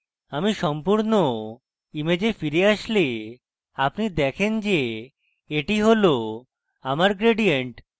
আপনি সম্পূর্ণ image ফিরে আসলে আপনি দেখেন যে এটি হল আমার gradient